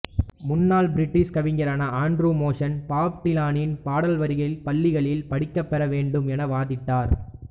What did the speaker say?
முன்னாள் பிரிட்டிஷ் கவிஞரான Andrew Motion Bob டிலானின் பாடல் வரிகள் பள்ளிகளில் படிக்கப் பெற வேண்டும் என்று வாதிட்டார்